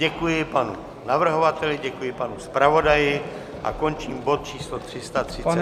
Děkuji panu navrhovateli, děkuji panu zpravodaji a končím bod číslo 335 naší schůze.